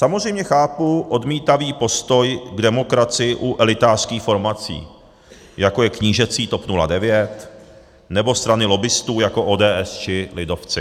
Samozřejmě chápu odmítavý postoj k demokracii u elitářských formací, jako je knížecí TOP 09, nebo strany lobbistů, jako ODS či lidovci.